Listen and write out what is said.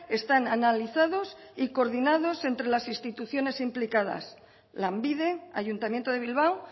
están analizados y coordinados entre las instituciones implicadas lanbide ayuntamiento de bilbao